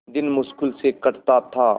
दिन मुश्किल से कटता था